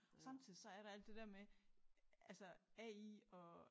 Samtidig så er der alt det der med altså AI og